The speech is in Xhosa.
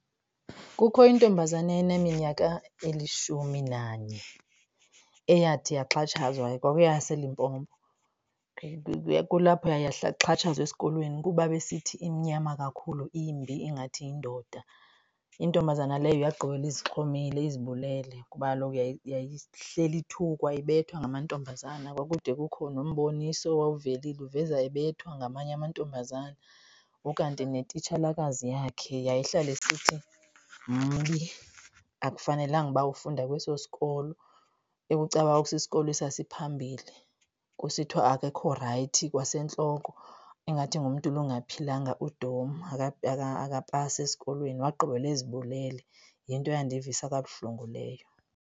Kukho intombazana eyayineminyaka elishumi nanye eyathi yaxhatshazwa. KwakuyeyaseLimpopo. Kulapho yaye yaxhatshazwa esikolweni kuba besithi imnyama kakhulu, imbi ingathi yindoda. Intombazana leyo yagqibela izixhomile, izibulele ngoba kaloku yayihleli ithukwa, ibethwa ngamantombazana. Kwakude kukho nomboniso owawuvelile uveza ebethwa ngamanye amantombazana. Ukanti netitshalakazi yakhe yayihlala isithi mbi, akufanelanga uba ufunda kweso sikolo, ekucacuba kwakusisikolo esasiphambili. Kusithiwa akekho rayithi kwasentloko ingathi ngumntu lo ongaphilanga, udom akapasi esikolweni. Wagqibela ezibulele yinto eyandivisa kabuhlungu leyo.